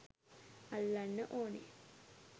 අල්ලන්න ඕනෙ